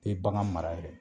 Te bagan mara yɛrɛ